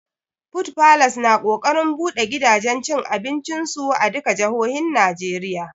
Food falas na ƙoƙarin buɗe gidajen cin abincin su a duka jahohin Najeriya